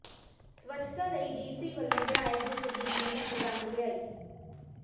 ਸਵੱਛਤਾ ਲਈ ਡੀਸੀ ਵਲੋਂ ਬਣਾਏ ਗਰੁੱਪ ਦੀ ਮਿਹਨਤ ਰੰਗ ਲਿਆਈ